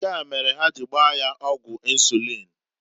Nkea mere ha ji gbaa ya ọgwụ insuliin.